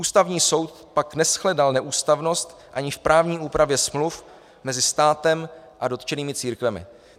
Ústavní soud pak neshledal neústavnost ani v právní úpravě smluv mezi státem a dotčenými církvemi.